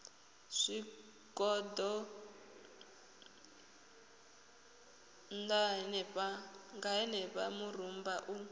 zwigoḓo ṋna henefha murumba u